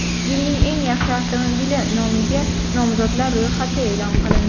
Yilning eng yaxshi avtomobili nomiga nomzodlar ro‘yxati e’lon qilindi.